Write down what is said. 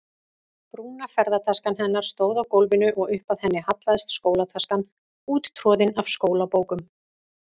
Brúna ferðataskan hennar stóð á gólfinu og upp að henni hallaðist skólataskan úttroðin af skólabókum.